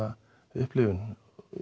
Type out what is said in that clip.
upplifun